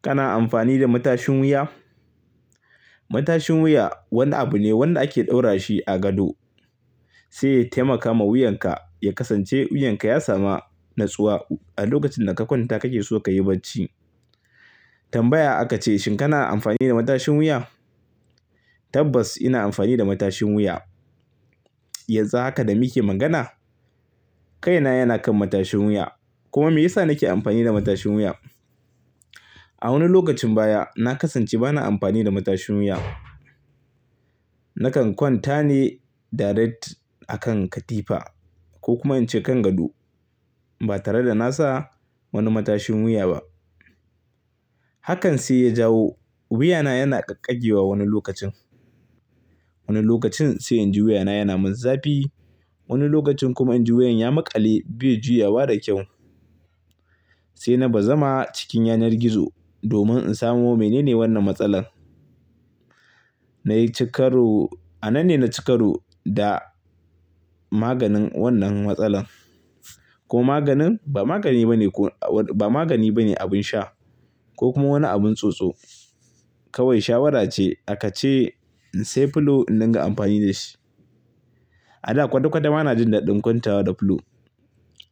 Kana amfani da matashin wuya? Matashin wuya wani abu ne wanda ake ɗaura shi a gado sai ya taimaka ma wuyanka ya kasance wuyanka ya samu natsuwa a lokacin da ka kwanta kake so ka yi bacci. Tambaya aka ce, shin kana amfani da matashin wuya? Tabbas ina amfani da matashin wuya. Yanzu haka da muke magana, kaina yana kan matashin wuya. Kuma me yasa nake amfani da matashin wuya? A wani lokacin baya na kasance bana amfani da matashin wuya. Nakan kwanta ne direct a kan katifa ko kuma in ce kan gado ba tare da na sa wani matashin wuya ba. Hakan sai ya jawo wuyana yana ƙagƙage wa wani lokacin. Wani lokacin sai in ji wuyana yana min zafi. Wani lokacin kuma in ji wuyan ya maƙale bai juyawa da kyau. Sai na ba zama cikin yanar gizo domin in samu mene ne wannan matsalar. Na yi cikaru. A nan ne na cikaru da maganin wannan matsalar. Ko maganin? Ba magani ba ne ko-- ba magani ba ne abin sha ko kuma wani abun tsotso. Kawai shawara ce aka ce in sai pillow in dinga amfani da shi. A da kwada kwada ma na jin daɗin kwantawa da pillow.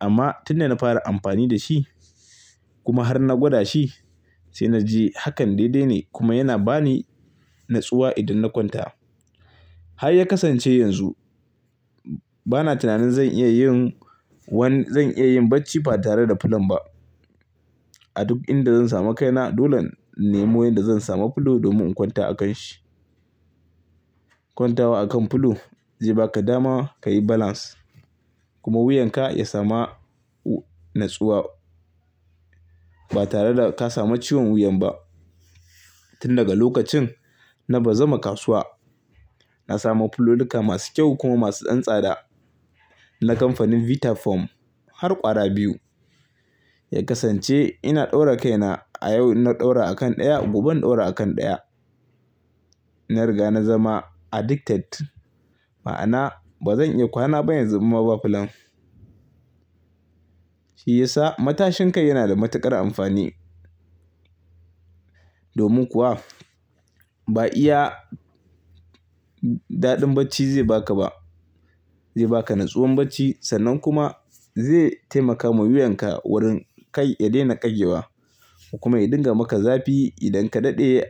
Amma tun da na fara amfani da shi kuma har na gwada shi sai na ji hakan daidai ne kuma yana ba ni natsuwa idan na kwanta. Har ya kasance yanzu bana tunanin zan iya yin wani-- zan iya yin bacci ba tare da pillow ba. A duk inda zan samu kaina dole in mu ya zan samu pillow domin in kwanta a kan shi. Kwantawa akan pillow zai baka dama ka yi balance kuma wuyanka ya samu natsuwa ba tare da ka samu ciwon wuyan ba. Tun daga lokacin na ba zama kasuwa na samu pillowuka masu kyau kuma masu ɗan tsada na kamfanin Vitafoam har ƙwara biyu. Ya kasance ina ɗaura kaina a yau ina ɗaura a kan ɗaya gobe in ɗaura a kan ɗaya. Na riga na zama addicted ma'ana ba zan iya kwana ba yanzu in babu pillow. Shi ya sa matashin kai yana da matuƙar amfani. Domin kuwa ba iya daɗin bacci zai baka ba. Zai baka natsuwan bacci sannan kuma zai taimaka ma wuyanka wurin kai ya daina ƙage wa kokuma ya dinga maka zafi idan ka daɗe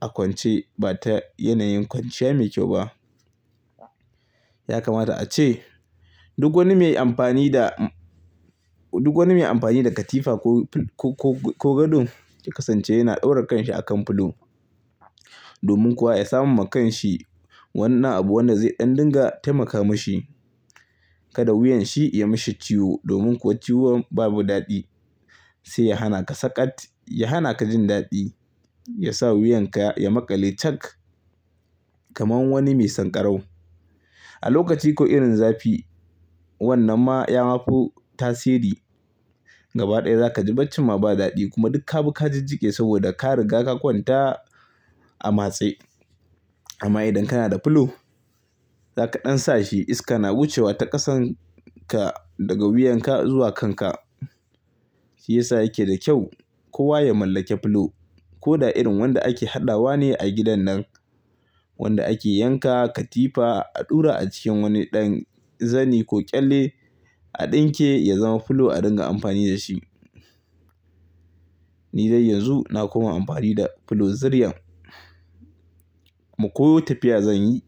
a kwance ba ta yanayin kwanciya mai kyau ba. Ya kamata a ce duk wani mai amfani da, duk wani mai amfani da katifa ko, ko, ko gado ya kasance yana daura kanshi akan pillow. Domin kuwa ya samu ma kanshi wannan abu wanda zai ɗan dinga taimaka mashi kada wuyanshi ya mashi ciwo. Domin kuwa ciwon babu daɗi. Sai ya hana ka saƙat, ya hana ka jin daɗi, ya sa wuyanka ya maƙale cak kamar wani mai san ƙarau. A lokaci ko irin zafi wannan ma ya ma fo tasiri gaba ɗaya za ka ji bacci ma ba daɗi kuma duk ka bi ka jijjige saboda ka riga ka kwanta a matse. Amma idan kana da pillow, za ka ɗan sa shi iska na wucewa ta ƙasan ka daga wuyanka zuwa kanka. Shi ya sa yake da kyau kowa ya mallake pillow. Ko da irin wanda ake haɗawa ne a gidan nan wanda ake yanka katifa a ɗura a cikin wani ɗan zani ko ƙyalle a ɗinke ya zama pillow a dinga amfani da shi. Ni dai yanzu na koma amfani da pillow zuriyan. Kuma ko tafiya zan yi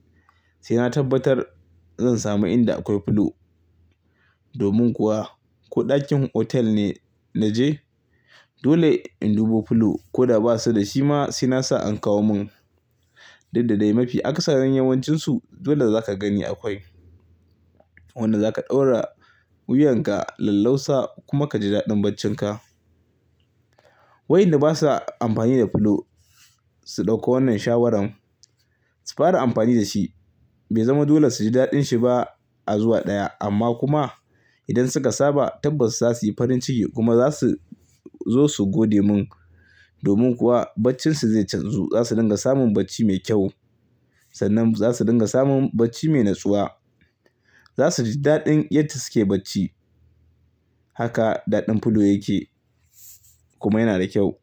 sai na tabbatar zan samu inda akwai pillow. Domin kuwa ko ɗakin hotel ne na je dole in dubo pillow ko da ba su da shi ma sai na sa an kawo mun. Dukda dai mafi akasarin yawancinsu dole za ka gani akwai. Wanda za ka ɗaura wuyanka lallausa kuma ka ji daɗin baccinka. Wayanda basa amfani da pillow su ɗauko wannan shawarar su fara amfani da shi. Bai zama dole su ji daɗin shi ba a zuwa ɗaya. Amma kuma idan suka saba tabbas za su yi farin ciki kuma za su zo su gode mun. Domin kuwa baccinsu zai canzu. Za su dinga samun bacci mai kyau sannan za su dinga samun bacci mai natsuwa. Za su ji daɗin yadda suke bacci. Haka daɗin pillow yake kuma yana da kyau.